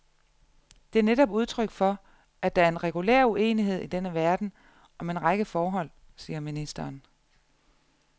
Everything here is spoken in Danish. Det er netop udtryk for, at der er en regulær uenighed i denne verden om en række forhold, siger ministeren.